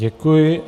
Děkuji.